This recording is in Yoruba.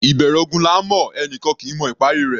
Ìbẹ̀rẹ̀ ogun là ńmọ̀; ẹni kan kì í mọ ìparí i rẹ̀.